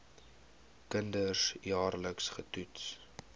kinders jaarliks getoets